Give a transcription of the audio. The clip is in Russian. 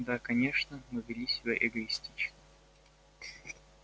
да конечно мы вели себя эгоистично